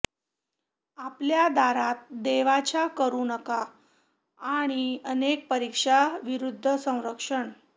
आपल्या दारात देवाच्या करू नका आणि अनेक परीक्षा विरुद्ध संरक्षण